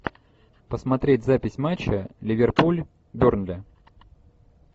посмотреть запись матча ливерпуль бернли